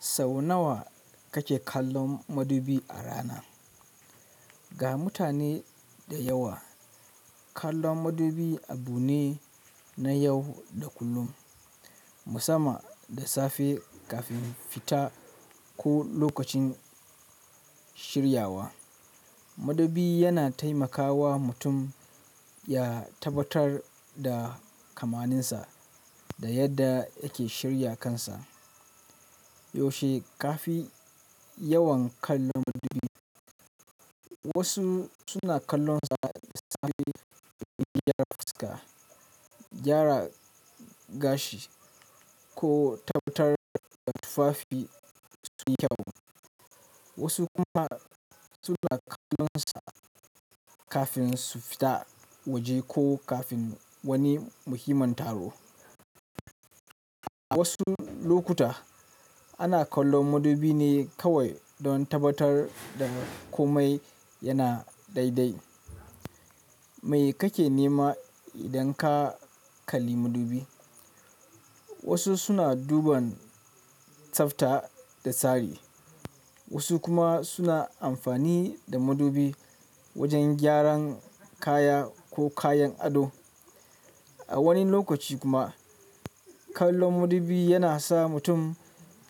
Sau nawa kake kallon madubi a rana? Ga mutane da yawa, kallon madubi abu ne na yau da kullum, musamman da safe kafin fita ko lokacin shiryawa. Madubi yana taimakawa mutum ya tabbatar da kamaninsa da yadda yake shirya kansa. Yaushe ka fi yawan kallon madubi? Wasu suna kallonsa da safe don gyara fuska, gyara gashi ko tabbatar da tufafi sunyi kyau. Wasu kuma suna kallonsa kafin su fita waje ko kafin wani muhimmin taro. A wasu lokuta, ana kallon madubi ne kawai don tabbatar da komai yana daidai. Mai kake nema idan ka kalli madubi? Wasu suna duban tsafta da tsari, wasu kuma suna amfani da madubi wajen gyaran kaya ko kayan ado. A wani lokaci kuma, kallon madubi yana sa mutum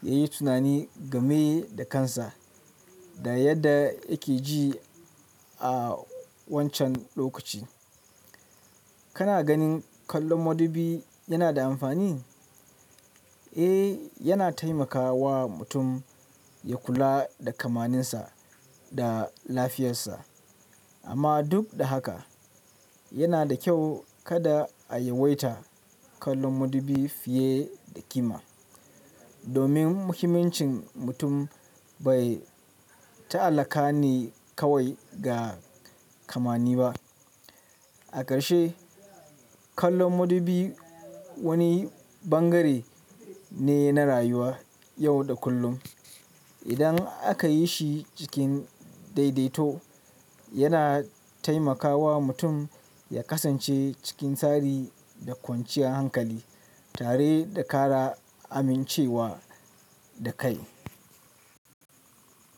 ya yi tunani game da kansa da yadda yake ji a wancan lokaci. Kana ganin kallon madubi yana da amfani? Eh, yana taimakawa mutum ya kula da kamuninsa da lafiyarsa. Amma duk da haka, yana da kyau kada a yawaita kallon madubi fiye da kima, domin muhimmancin mutum bai ta'allaka ne kawai ga kamani ba. A ƙarshe, kallon madubi wani bangare ne na rayuwa yau da kullum. Idan aka yi shi cikin daidaito, yana taimakawa mutum ya kasance cikin tsari da kwanciyar hankali tare da ƙara amincewa da kai.